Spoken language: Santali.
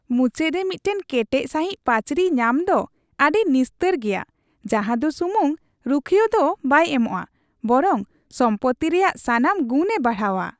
ᱢᱩᱪᱟᱹᱫ ᱨᱮ ᱢᱤᱫᱴᱟᱝ ᱠᱮᱴᱮᱡ ᱥᱟᱹᱦᱤᱡ ᱯᱟᱹᱪᱨᱤ ᱧᱟᱢ ᱫᱚ ᱟᱹᱰᱤ ᱱᱤᱥᱛᱟᱹᱨ ᱜᱮᱭᱟ ᱡᱟᱦᱟᱸ ᱫᱚ ᱥᱩᱢᱩᱝ ᱨᱩᱠᱷᱤᱭᱟᱹᱣ ᱫᱚ ᱵᱟᱭ ᱮᱢᱚᱜ ᱼᱟ, ᱵᱚᱨᱚᱝ ᱥᱚᱢᱯᱚᱛᱛᱤ ᱨᱮᱭᱟᱜ ᱥᱟᱱᱟᱢ ᱜᱩᱱᱮ ᱵᱟᱲᱦᱟᱣᱟ ᱾